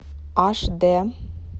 аш дэ